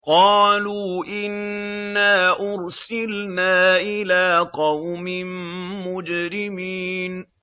قَالُوا إِنَّا أُرْسِلْنَا إِلَىٰ قَوْمٍ مُّجْرِمِينَ